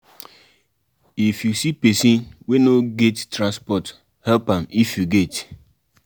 if you see person wey no get transport help am if you get